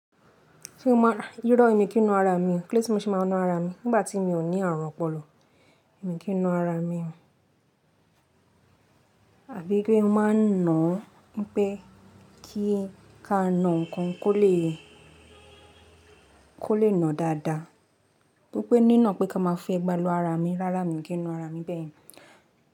Ṣé o mọ irọ́ èmi kí n na ara mi? Kíló dé tí mo ṣe máa ń na ara mi nígbà tí mi ò ní àrùn ọpọlọ? Ẹ̀mi kí n na ara mi? Àbí pé mo máa ń nà án bi pé kí ka na nǹkan kó lè, kó lè na dáadáa. Bí pé ní na pé ká máa fi ẹgba lu ara mi, rárá mi kì í na ara mi bẹ́ẹ̀.